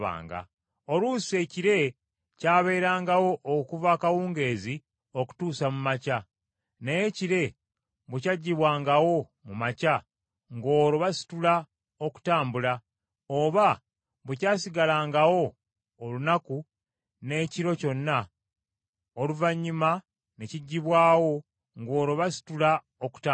Oluusi ekire kyabeerangawo okuva akawungeezi okutuusa mu makya; naye ekire bwe kyaggyibwangawo mu makya, ng’olwo basitula okutambula; oba bwe kyasigalangawo olunaku n’ekiro kyonna oluvannyuma ne kiggyibwawo, ng’olwo basitula okutambula.